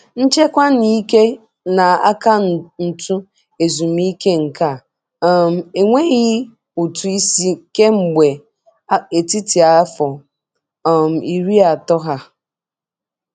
Nchekwa n'ike na akaụntụ ezumike nka um enweghị ụtụ isi kemgbe etiti afọ um iri atọ ha.